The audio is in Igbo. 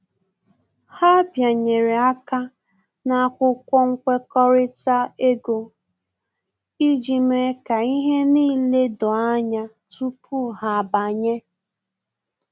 Ha bịanyere aka ná akwụkwọ nkwekọrịta ego iji mee ka ihe n'ile doo anya tupu ha abanye